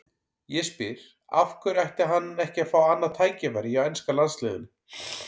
Ég spyr: Af hverju ætti hann ekki að fá annað tækifæri hjá enska landsliðinu?